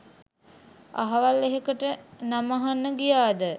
අහවල් එහෙකට නම අහන්න ගියාද